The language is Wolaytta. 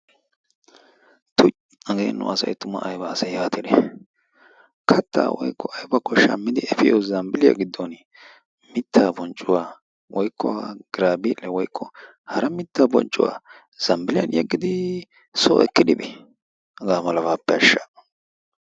Tuy hagee nu asayi ayba asee yaatidi kattaa woykko aybakko shammidi efiyo zambbilliya giddon mittaa bonccuwa woykko giraabiiliyakko hara mittaa bonccuwa zambbilliyan yeggidi soo ekkidi bii hagaa malabaappe ashsha.